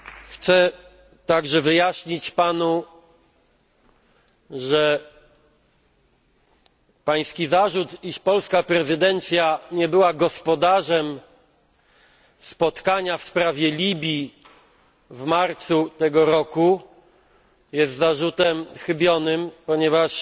Chcę także wyjaśnić Panu, że Pański zarzut, iż polska prezydencja nie była gospodarzem spotkania w sprawie Libii w marcu tego roku, jest zarzutem chybionym, ponieważ